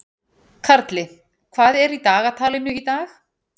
Karli, hvað er í dagatalinu í dag?